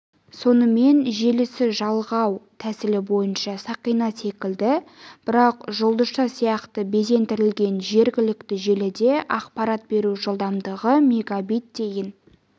сонымен желісі жалғау тәсілі бойынша сақина секілді бірақ жұлдызша сияқты безендірілген жергілікті желіде ақпарат беру жылдамдығы мегабит дейін